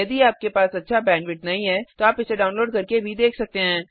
यदि आपके पास अच्छा बैंडविड्थ नहीं है तो आप इसे डाउनलोड करके देख सकते हैं